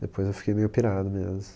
Depois eu fiquei meio pirado mesmo.